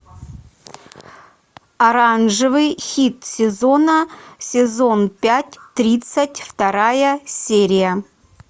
оранжевый хит сезона сезон пять тридцать вторая серия